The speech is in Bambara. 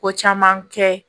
Ko caman kɛ